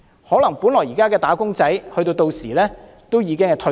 可能現時的"打工仔"屆時已經退休。